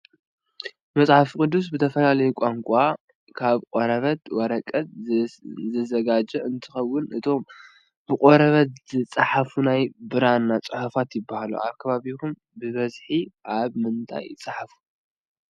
መፅሓፍ ቅዱስ ብዝተፈላለዩ ቋንቋታት ካብ ቆርበትን ወረቀትን ዝዘጋጀውን እንትኾኑ እቶም ብቆርበት ዝፅሓፈ ናይ ብራና ፅሑፋት ይብሃሉ። ኣብ ከባቢኹም ብበዝሒ ኣብ ምንታይ ይፅሓፉ?